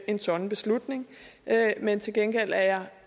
en sådan beslutning men til gengæld er jeg